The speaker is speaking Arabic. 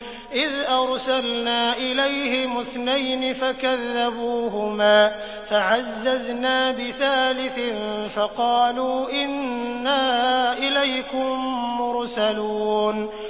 إِذْ أَرْسَلْنَا إِلَيْهِمُ اثْنَيْنِ فَكَذَّبُوهُمَا فَعَزَّزْنَا بِثَالِثٍ فَقَالُوا إِنَّا إِلَيْكُم مُّرْسَلُونَ